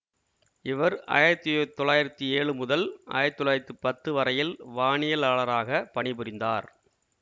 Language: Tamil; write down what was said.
இவர் ஆயிரத்தி யுத் தொள்ளாயிரத்தி ஏழு முதல் ஆயிரத்தி தொள்ளாயிரத்தி பத்து வரையில் வானியலாளராக பணிபுரிந்தார்